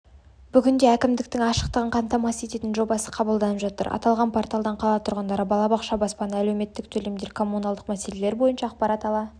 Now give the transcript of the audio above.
бүгінде әкімдіктің ашықтығын қамтамасыз ететін жобасы қабылданып жатыр аталған порталдан қала тұрғындары балабақша баспана әлеуметтік төлемдер коммуналдық мәселелері бойынша ақпарат ала